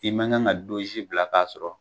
I ma kan ka donsi bila k'a sɔrɔ